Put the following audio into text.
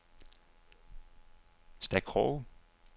Stakroge